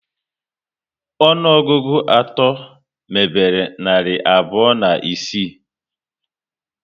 Ọnụọgụgụ atọ mebere narị abụọ na isii